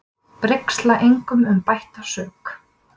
Brigsla engum um bætta sök.